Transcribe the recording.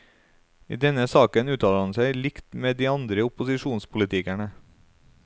I denne saken uttaler han seg likt med de andre opposisjonspolitikerne.